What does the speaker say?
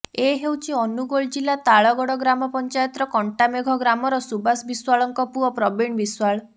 ଏ ହେଉଛି ଅନୁଗୋଳ ଜିଲ୍ଲା ତାଳଗଡ଼ ଗ୍ରାମ ପଂଚାୟତର କଣ୍ଟାମେଘ ଗ୍ରାମର ସୁବାଷ ବିଶ୍ବାଳଙ୍କ ପୁଅ ପ୍ରବୀଣ ବିଶ୍ୱାଳ